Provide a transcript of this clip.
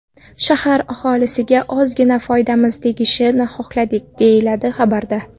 Shahar aholisiga ozgina foydamiz tegishini xohladik”, deyiladi xabarda.